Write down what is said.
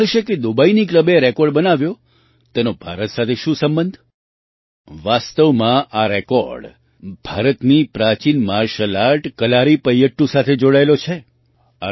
તમને થશે કે દુબઈના ક્લબે રેકૉર્ડ બનાવ્યો તેનો ભારત સાથે શું સંબંધ વાસ્તવમાં આ રેકૉર્ડ ભારતની પ્રાચીન માર્શલ આર્ટ કલારીપયટ્ટૂ સાથે જોડાયેલો છે